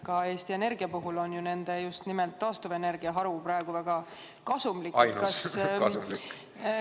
Ka Eesti Energia puhul on ju just nimelt taastuvenergia haru praegu väga kasumlik.